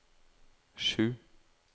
sju